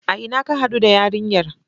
A ina ka haɗu da yarinyar?